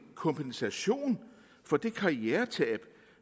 kompensation for det karrieretab